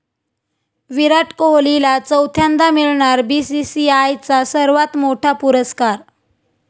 विराट कोहलीला चौथ्यांदा मिळणार बीसीसीआयचा सर्वात मोठा पुरस्कार